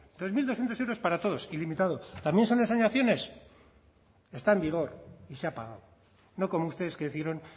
dos mil doscientos euros para todos ilimitado también son ensoñaciones está en vigor y se ha pagado no como ustedes que hicieron